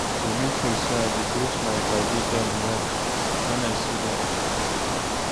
I dey make sure sey I greet my paddy dem well wen I see dem.